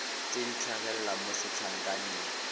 tse di tlhagelela mo setlankaneng